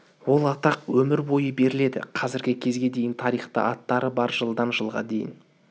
ол атақ өмір бойы беріледі қазіргі кезге дейін тарихта аттары бар жылдан жылға дейін